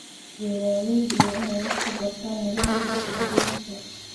Beeraleydu waa inay wax ka bartaan nidaamka suuq-geynta.